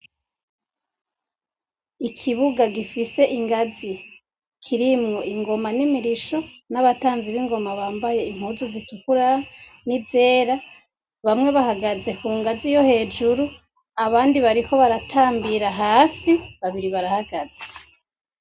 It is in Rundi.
Ikibuga gifise ingazi, kirimwo ingoma nimirosho nabatamvyi ningoma bambaye Impuzu zitukura, n'izera bamwe bahagaze kungazi yohejjru abandi bariko baratambira kungazi yohepho, babiri barahagaze.